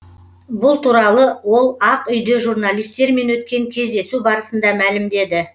бұл туралы ол ақ үйде журналистермен өткен кездесу барысында мәлімдеді